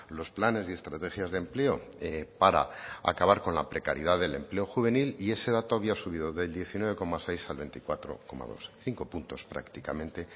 los planes y estrategias de empleo para acabar con la precariedad del empleo juvenil y ese dato había subido del diecinueve coma seis al veinticuatro coma dos cinco puntos prácticamente